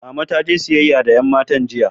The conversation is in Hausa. Mama taje siyayya da yan matan jiya.